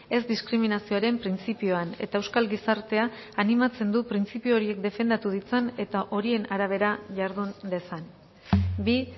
ez diskriminazioaren printzipioan eta euskal gizartea animatzen du printzipio horiek defendatu ditzan eta horien arabera jardun dezan bi